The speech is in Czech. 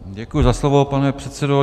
Děkuji za slovo, pane předsedo.